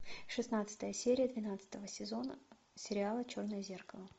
шестнадцатая серия двенадцатого сезона сериала черное зеркало